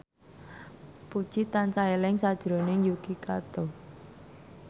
Puji tansah eling sakjroning Yuki Kato